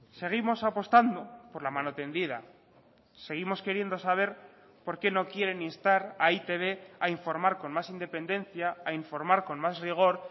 seguimos apostando por la mano tendida seguimos queriendo saber por qué no quieren instar a e i te be a informar con más independencia a informar con más rigor